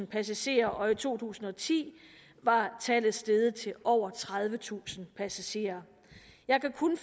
passagerer og i to tusind og ti var tallet steget til over tredivetusind passagerer jeg kan kun